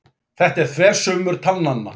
Þetta eru þversummur talnanna.